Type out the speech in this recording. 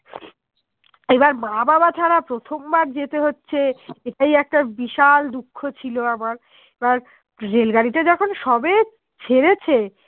এইবার বাবা মা ছাড়া প্রথম বার যেতে হচ্ছ এটাই একটা বিশাল দুঃখ ছিল আমার এবার Rail গাড়িতে যখন সবে ছেড়েছে